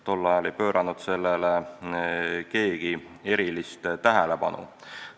Tol ajal ei pööranud sellele keegi erilist tähelepanu.